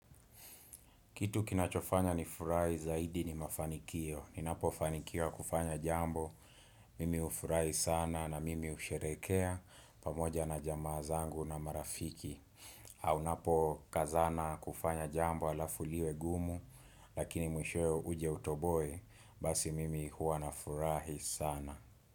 Kitu kinachofanya nifurahi zaidi ni mafanikio. Ninapofanikiwa kufanya jambo, mimi ufurahi sana na mimi usherehekea pamoja na jamaa zangu na marafiki. Au napo kazana kufanya jambo alafu liwe gumu, lakini mwishowe uje utoboe, basi mimi huwa na furahi sana.